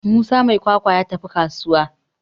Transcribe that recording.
Musa mai kwakwa ya tafi kasuwa